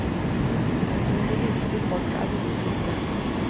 Tror du virkelig folk er villige til det?